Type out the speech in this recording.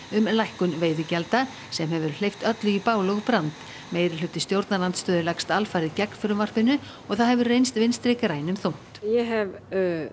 um lækkun veiðigjalda sem hefur hleypt öllu í bál og brand meirihluti stjórnarandstöðu leggst alfarið gegn frumvarpinu og það hefur reynst Vinstri grænum þungt ég hef